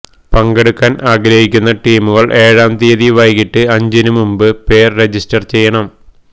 പങ്കെടുക്കാന് ആഗ്രഹിക്കുന്ന ടീമുകള് ഏഴാം തീയതി വൈകീട്ട് അഞ്ചിന് മുമ്പ് പേര് രജിസ്റ്റര് ചെയ്യണം